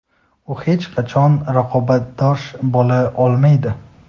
u hech qachon raqobatbardosh bo‘la olmaydi.